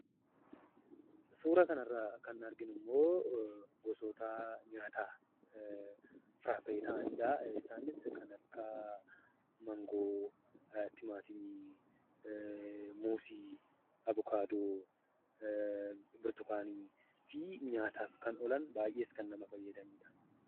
Suuraa kanarraa kan arginummoo, gosoota nyaataa , firaafiree ta'aniidha. Isaanis kan akka mangoo, timaatimii, muuzii, avucaadoo , burtukaanii fi nyaataaf kan oolan baayyees kan nama fayyadaniidha.